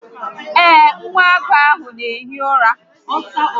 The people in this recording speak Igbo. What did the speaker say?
Ee, nwa agụ ahụ n'ehi ụra